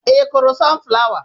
I kụrụ sun flawa?